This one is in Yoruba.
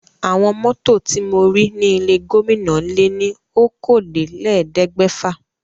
Àwọn mọ́tò ti mo rí ní ilé gómìnà lé ní okòólélẹ́ẹ̀ẹ́dẹ́gbẹ́fà.